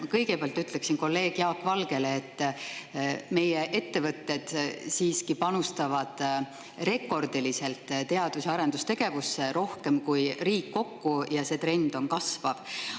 Ma kõigepealt ütlen kolleeg Jaak Valgele, et meie ettevõtted siiski panustavad teadus- ja arendustegevusse rekordiliselt, rohkem kui riik kokku, ja see on kasvav trend.